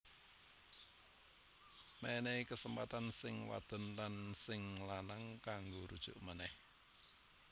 Mènèhi kesempatan sing wadon lan sing lanang kanggo rujuk ménèh